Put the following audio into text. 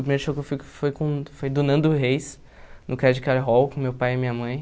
O primeiro show que eu fui foi com foi do Nando Reis, no Credit Card Hall, com meu pai e minha mãe.